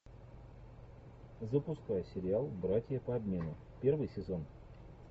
запускай сериал братья по обмену первый сезон